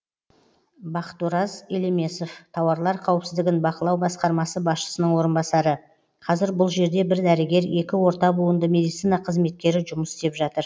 бақытораз елемесов тауарлар қауіпсіздігін бақылау басқармасы басшысының орынбасары қазір бұл жерде бір дәрігер екі орта буынды медицина қызметкері жұмыс істеп жатыр